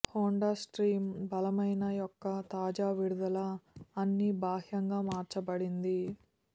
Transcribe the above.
Honda stream బలమైన యొక్క తాజా విడుదల అన్ని బాహ్యంగా మార్చబడింది